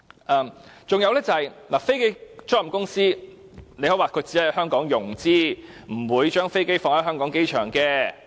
再者，你可以說飛機租賃公司只在香港融資，不會把飛機停泊在香港機場。